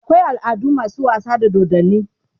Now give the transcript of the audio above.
akwai al'adu masu wasa da dodanni